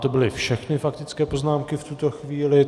To byly všechny faktické poznámky v tuto chvíli.